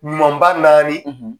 Ɲuman ba naani,